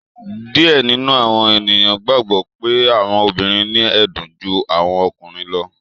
Diẹ nínú àwọn ènìyàn gbàgbó pe àwọn obìrin ni ẹdun jù àwọn ọkùnrin lọ.